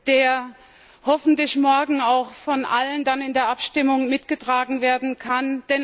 der hoffentlich morgen dann auch von allen dann in der Abstimmung mitgetragen werden kann.